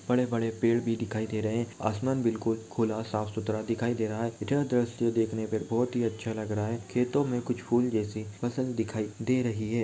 बड़े बड़े पेड़ भी दिखाई दे रहे हैं। आसमान बिल्कुल खुला साफ़ सुथरा दिखाई दे रहा है। यह दृश्य देखने पर बोहोत ही अच्छा लग रहा है। खेतो में कुछ फूल जैसी फसल दिखाई दे रही है।